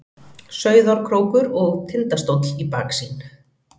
Sauðárkrókur og Tindastóll í baksýn.